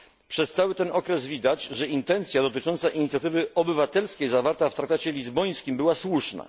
Przez cały ten okres widać, że intencja dotycząca inicjatywy obywatelskiej zawarta w traktacie lizbońskim była słuszna.